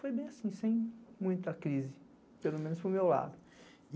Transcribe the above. Foi bem assim, sem muita crise, pelo menos para o meu lado.